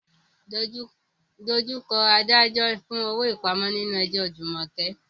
Face the magistrate for bail in Jumoke's case.